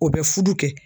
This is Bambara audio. O bɛ furu kɛ